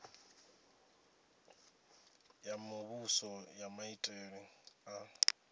ya muvhuso ya maitele a